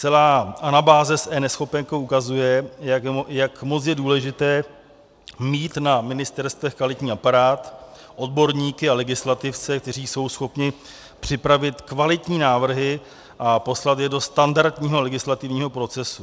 Celá anabáze s eNeschopenkou ukazuje, jak moc je důležité mít na ministerstvech kvalitní aparát, odborníky a legislativce, kteří jsou schopni připravit kvalitní návrhy a poslat je do standardního legislativního procesu.